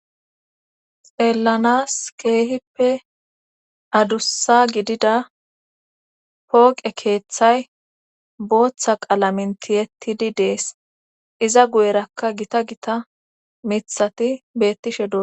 xeelanas keehippe adussa gidida pooqe keeththay booththa qalamintiyettidi dees. iza guyerakka gita gita mithati bettishe